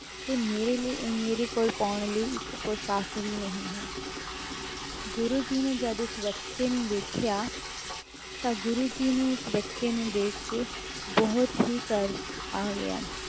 ਤੇ ਮੇਰੇ ਲਈ ਅਹ ਮੇਰੇ ਕੋਲ ਪਾਉਣ ਲਈ ਇੱਕ ਪੁਸ਼ਾਕ ਵੀ ਨਹੀਂ ਹੈ ਗੁਰੂ ਜੀ ਨੇ ਜਦ ਉਸ ਬੱਚੇ ਨੂੰ ਵੇਖਿਆ, ਤਾਂ ਗੁਰੂ ਜੀ ਨੂੰ ਉਸ ਬੱਚੇ ਨੂੰ ਦੇਖ ਕੇ ਬਹੁਤ ਹੀ ਤਰਸ ਆ ਗਿਆ,